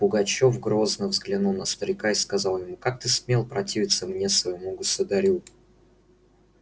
пугачёв грозно взглянул на старика и сказал ему как ты смел противиться мне своему государю